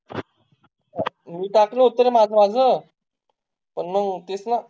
मी टाकलं होतं ना माझं माझं, पण मंग तितन